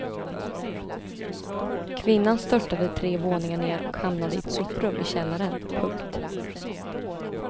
Kvinnan störtade tre våningar ner och hamnade i ett soprum i källaren. punkt